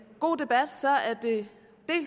god debat